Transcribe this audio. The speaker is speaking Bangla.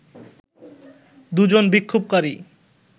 দুজন বিক্ষোভকারী